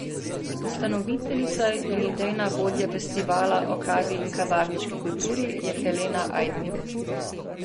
Ustanoviteljica in idejna vodja festivala o kavi in kavarniški kulturi je Helena Ajdnik.